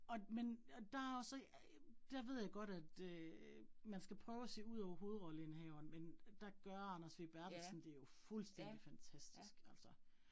Og men og der også, der ved jeg godt, at øh man skal prøve at se udover hovedrolleindehaveren, men der gør Anders W Berthelsen det jo fuldstændig fantastisk altså